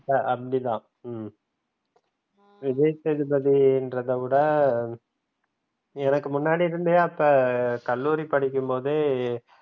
ஆஹ் அப்படித்தா உம் விஜய் சேதுபதின்றத விட எனக்கு முன்னாடி இருந்தே அப்ப கல்லூரி படிக்கும் போதே